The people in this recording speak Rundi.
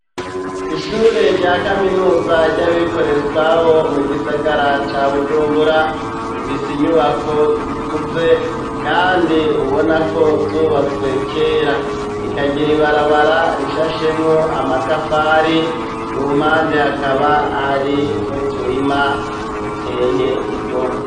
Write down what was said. Ishure rya kaminuza ryabikorera utwabo mu gisagara ca bujumbura ,ifise inyubako zikuze kandi ubona ko zubatswe kera rikagira ibarabara rishashemwo amatafari ku mpande hakaba hari no turima tuteye igomwe.